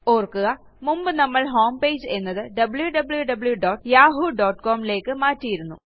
ഓർക്കുക മുമ്പ് നമ്മൾ ഹോം പേജ് എന്നത് wwwyahoocomലേയ്ക്ക് മാറ്റിയിരുന്നു